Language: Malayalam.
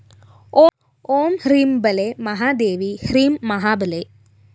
ഓം ഹ്രീം ബാലെ മഹാദേവി ഹ്രീം മഹാബലേ